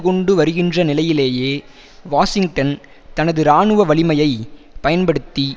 கொண்டு வருகின்ற நிலையிலேயே வாஷிங்டன் தனது இராணுவ வலிமையை பயன்படுத்தி